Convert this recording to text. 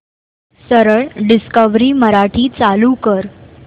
सरळ डिस्कवरी मराठी चालू कर